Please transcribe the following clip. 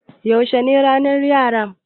Yaushe ne ranar Yara?